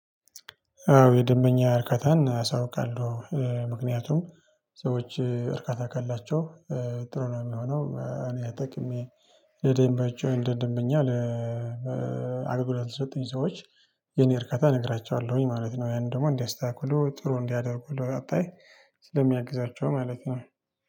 አዎ የደንበኛ እርካታን አሳውቃለው ምክንያቱም ሰዎች እርካታ ካላቸው ጥሩ ነው የሚሆነው። እኔ አጠቅሜ ለደንባቸው ደንበኛ አገልግሎት ለሰጡኝ ሰዎች የኔን እርካታ እነግራቸዋለሁኝ ማለት ነው። ያንን ደግሞ እንዲያስተካክሉ ጥሩ እንዲያደርጉ ለቀጣይ ስለሚያግዛቸው ማለት ነው